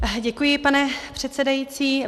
Děkuji, pane předsedající.